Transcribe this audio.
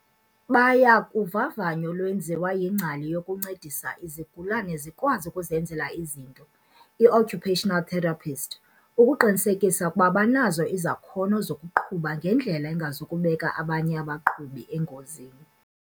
"Baya kuvavanyo olwenziwa yingcali yokuncedisa izigulane zikwazi ukuzenzela izinto, i-occupational therapist, ukuqinisekisa ukuba banazo izakhono zokuqhuba ngendlela engazikubeka abanye abaqhubi engozini."